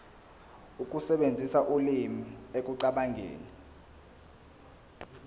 ukusebenzisa ulimi ekucabangeni